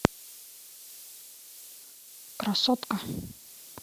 красотка